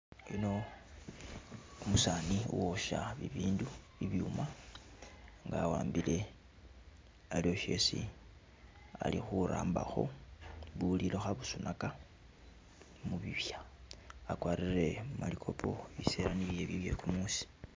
Yuno umusani uwosha bibindu, bibyuma wawambile aliwo shesi Ali khurabaho bulilo khabusunaka mubibya akwarire malikopo bisela nibyo ebyo byekumusi